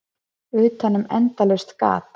Utanum endalaust gat.